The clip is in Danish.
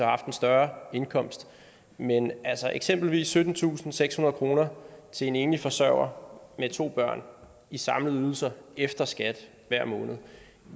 haft en større indkomst men eksempelvis syttentusinde og sekshundrede kroner til en enlig forsørger med to børn i samlede ydelser efter skat hver måned